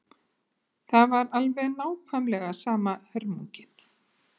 Það var alveg nákvæmlega sama hörmungin.